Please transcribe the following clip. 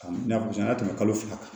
N y'a a tɛ tɛmɛ kalo fila kan